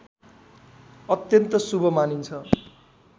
अत्यन्त शुभ मानिन्छ